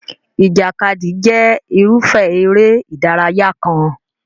Ìjàkadì jẹ́ irúfẹ́ eré ìdárayá kan.